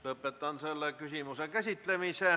Lõpetan selle küsimuse käsitlemise.